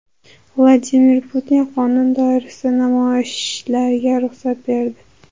Vladimir Putin qonun doirasida namoyishlarga ruxsat berdi.